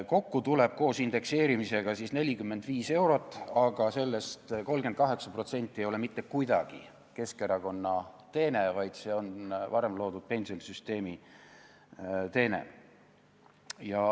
Kokku tuleb koos indekseerimisega 45 eurot, aga sellest 38% ei ole mitte kuidagi Keskerakonna teene, vaid see on varem loodud pensionisüsteemi teene.